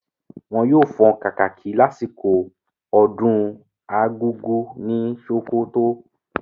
Wọn yóò fọn kàkàkí lásìkò ọdún argugu ní sókótó.